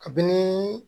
Kabini